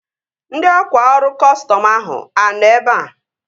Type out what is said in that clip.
Ndị ọkwá ọrụ kọstọm ahụ a nọ ebea?